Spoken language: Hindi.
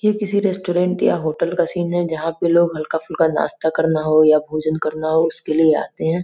ये किसी रेसट्रोरेंट या होटल का सीन है। जहाँ पे लोग हल्का पुलका नास्ता करना हो या भोज़न करना हो उसके लिए आते हैं।